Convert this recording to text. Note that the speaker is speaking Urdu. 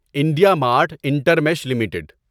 India Mart Intermesh limited